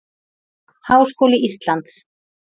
Háskóli Íslands.